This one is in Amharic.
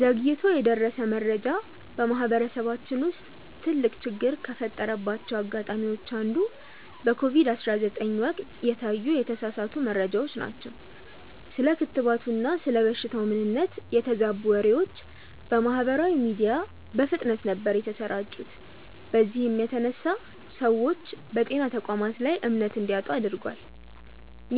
ዘግይቶ የደረሰ መረጃ በማህበረሰባችን ውስጥ ትልቅ ችግር ከፈጠረባቸው አጋጣሚዎች አንዱ በኮቪድ 19 ወቅት የታዩ የተሳሳቱ መረጃዎች ናቸው። ስለ ክትባቱና ስለ በሽታው ምንነት የተዛቡ ወሬዎች በማህበራዊ ሚዲያ በፍጥነት ነበር የተሰራጩት በዚህም የተነሳ ሰዎች በጤና ተቋማት ላይ እምነት እንዲያጡ አድርጓል።